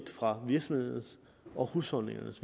fra virksomhedernes og husholdningernes